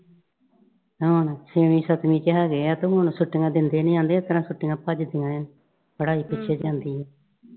ਹੋਰ ਛੇਵੀਂ ਸੱਤਵੀਂ ਚ ਹੈਗੇ ਆ ਤੇ ਹੁਣ ਛੁੱਟੀਆਂ ਦਿੰਦੇ ਨਈਂ। ਆਂਹਦੇ ਇਸ ਤਰ੍ਹਾਂ ਛੁੱਟੀਆਂ ਭੱਜਦੀਆਂ ਆਂ, ਪੜ੍ਹਾਈ ਪਿੱਛੇ ਜਾਂਦੀ ਏ।